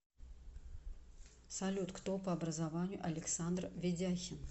салют кто по образованию александр ведяхин